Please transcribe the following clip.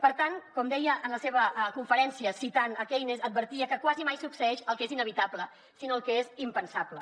per tant com deia en la seva conferència citant keynes advertia que quasi mai succeeix el que és inevitable sinó el que és impensable